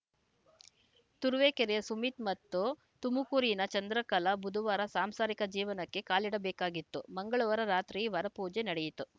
ತುರುವೇಕೆರೆಯ ಸುಮಿತ್‌ ಮತ್ತು ತುಮಕೂರಿನ ಚಂದ್ರಕಲಾ ಬುಧುವಾರ ಸಾಂಸಾರಿಕ ಜೀವನಕ್ಕೆ ಕಾಲಿಡಬೇಕಾಗಿತ್ತು ಮಂಗಳವಾರ ರಾತ್ರಿ ವರಪೂಜೆ ನಡೆಯಿತು